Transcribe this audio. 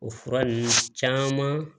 O fura ninnu caman